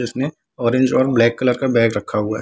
इसने ऑरेंज और black colour का बैग रखा हुआ है ।